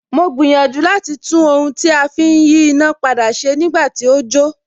Mo gbìyànjú láti tún ohun tí a fi ń yí iná padà ṣe nígbà tí ó jó